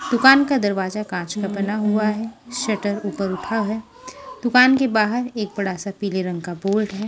दुकान का दरवाजा कांच का बना हुआ है शटर ऊपर उठा है दुकान के बाहर एक बड़ा सा पीले रंग का बोर्ड है।